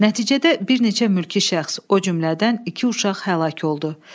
Nəticədə bir neçə mülki şəxs, o cümlədən iki uşaq həlak oldu.